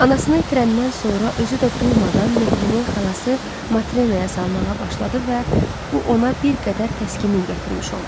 Anasını itirəndən sonra özü də duymadan mehrini xalası Matrenaya salmağa başladı və bu ona bir qədər təskinlik gətirmiş oldu.